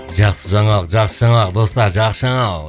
жақсы жаңалық жақсы жаңалық достар жақсы жаңалық